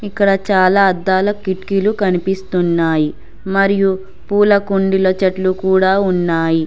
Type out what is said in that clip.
ఇక్కడ చాలా అద్దాల కిటికీలు కనిపిస్తున్నాయి మరియు పూల కుండీల చెట్లు కూడా ఉన్నాయి.